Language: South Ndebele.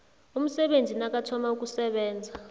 umsebenzi nakathoma ukusebenza